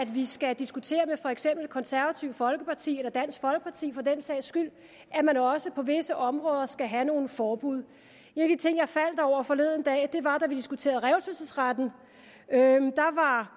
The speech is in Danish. vi skal diskutere med for eksempel det konservative folkeparti eller dansk folkeparti for den sags skyld at man også på visse områder skal have nogle forbud en af de ting jeg faldt over forleden dag var da vi diskuterede revselsesretten da var